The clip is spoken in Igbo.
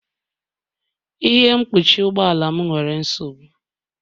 Ihe mkpuchi ụgbọ ala m nwere nsogbu